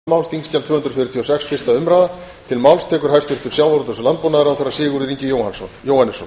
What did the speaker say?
virðulegi forseti ég mæli fyrir frumvarpi á þingskjali tvö hundruð fjörutíu og sex sem er hundrað fimmtugasta og